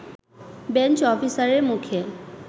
bench অফিসারের মুখে